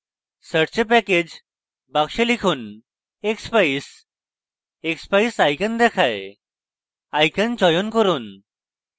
search a package box লিখুন: expeyes expeyes icon দেখায় icon চয়ন করুন